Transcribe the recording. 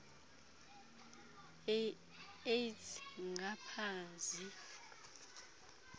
aids ngapha zii